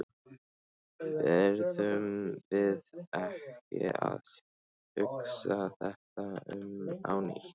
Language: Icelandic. Verðum við ekki að hugsa þetta upp á nýtt?